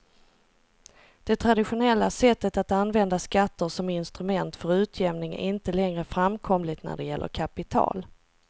Det traditionella sättet att använda skatter som instrument för utjämning är inte längre framkomligt när det gäller kapital.